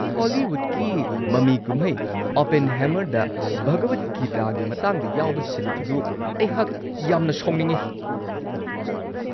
ꯍꯣꯂꯤꯋꯨꯗꯀꯤ ꯃꯃꯤ-ꯀꯨꯝꯍꯩ "ꯑꯣꯄꯦꯟꯍꯥꯏꯃꯔ"ꯗ ꯚꯒꯋꯗ ꯒꯤꯇꯥꯒꯤ ꯃꯇꯥꯡꯗ ꯌꯥꯎꯕ ꯁꯤꯟ ꯑꯗꯨ ꯑꯩꯍꯥꯛ ꯌꯥꯝꯅ ꯁꯥꯎꯅꯤꯡꯉꯤ ꯫